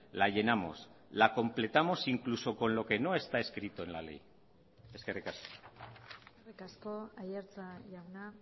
la llenamos la completamos incluso con lo que no está escrito en la ley eskerrik asko eskerrik asko aiartza jauna